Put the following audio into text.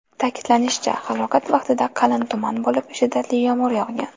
Ta’kidlanishicha, halokat vaqtida qalin tuman bo‘lib, shiddatli yomg‘ir yog‘gan.